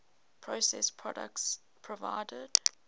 processed products provided